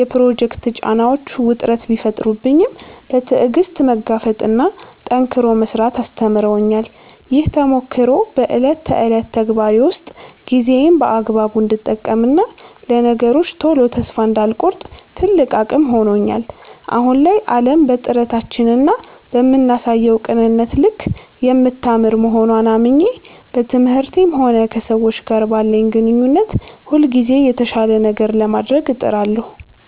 የፕሮጀክት ጫናዎች ውጥረት ቢፈጥሩብኝም፣ በትዕግሥት መጋፈጥንና ጠንክሮ መሥራትን አስተምረውኛል። ይህ ተሞክሮ በዕለት ተዕለት ተግባሬ ውስጥ ጊዜዬን በአግባቡ እንድጠቀምና ለነገሮች ቶሎ ተስፋ እንዳልቆርጥ ትልቅ አቅም ሆኖኛል። አሁን ላይ ዓለም በጥረታችንና በምናሳየው ቅንነት ልክ የምታምር መሆንዋን አምኜ፣ በትምህርቴም ሆነ ከሰዎች ጋር ባለኝ ግንኙነት ሁልጊዜም የተሻለ ነገር ለማድረግ እጥራለሁ።